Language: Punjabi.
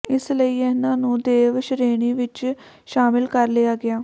ਇਸ ਲਈ ਇਹਨਾਂ ਨੂੰ ਦੇਵ ਸ਼ਰੇਣੀ ਵਿੱਚ ਸ਼ਾਮਿਲ ਕਰ ਲਿਆ ਗਿਆ